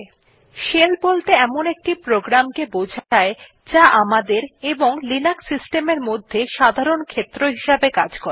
000253 000201 shell বলতে এমন একটি প্রোগ্রাম কে বোঝায় আমাদের এবং লিনাক্স সিস্টেম এর মধ্যে সাধারণ ক্ষেত্র হিসাবে কাজ করে